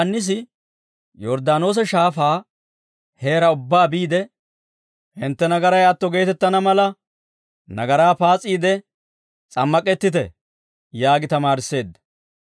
Yohaannisi Yorddaanoosa Shaafaa heeraa ubbaa biide, «Hintte nagaray atto geetettana mala nagaraa paas'iide s'ammak'ettite» yaagi tamaarisseedda.